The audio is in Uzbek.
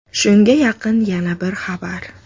Shunga yaqin yana bir xabar.